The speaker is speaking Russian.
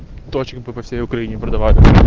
точек по по всей украине продавали